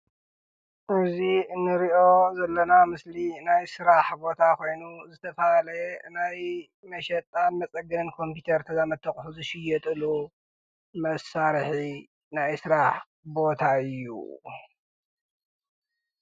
እዚ እንሪኦ ዘለና ምስሊ ናይ ስራሕ ቦታ ኾይኑ ዝተፈላለዩ ናይ መሸጣን መፀገኒ ኮምፒተር ተዛመድቲ ኣቑሑ ዝሽየጥሉ መሳርሒ ናይ ስራሕ ቦታ እዩ፡፡